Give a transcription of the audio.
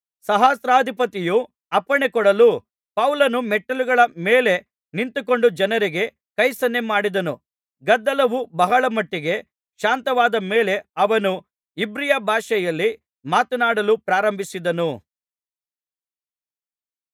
ಸಹಸ್ರಾಧಿಪತಿಯು ಅಪ್ಪಣೆ ಕೊಡಲು ಪೌಲನು ಮೆಟ್ಟಿಲುಗಳ ಮೇಲೆ ನಿಂತುಕೊಂಡು ಜನರಿಗೆ ಕೈಸನ್ನೆ ಮಾಡಿದನು ಗದ್ದಲವು ಬಹಳ ಮಟ್ಟಿಗೆ ಶಾಂತವಾದ ಮೇಲೆ ಅವನು ಇಬ್ರಿಯ ಭಾಷೆಯಲ್ಲಿ ಮಾತನಾಡಲು ಪ್ರಾರಂಭಿಸಿದನು